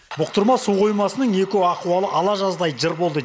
бұқтырма су қоймасының эко ахуалы ала жаздай жыр болды